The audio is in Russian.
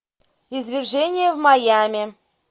извержение в майами